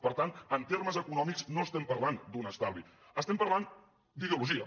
per tant en termes econòmics no estem parlant d’un estalvi estem parlant d’ideologia